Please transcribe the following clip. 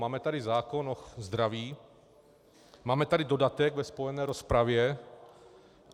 Máme tady zákon o zdraví, máme tady dodatek ve spojené rozpravě.